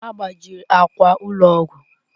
A gbajiri akwa ụlọ ọgwụ.